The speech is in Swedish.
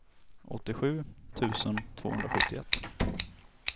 åttiosju tusen tvåhundrasjuttioett